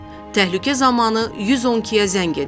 Təhlükə zamanı 112-yə zəng edin.